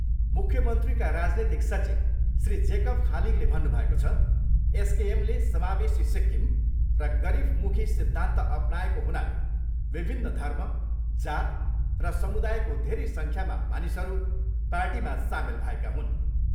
मुख्यमन्त्रीका राजनीतिक सचिव श्री जेकब खालिङले भन्नुभएको छ, एसकेएमले समावेशी सिक्किम र गरिबमुखी सिद्धान्त अपनाएको हुनाले विभिन्न धर्म, जात र समुदायको धेरै सङ्ख्यामा मानिसहरू पार्टीमा सामेल भएका हुन्।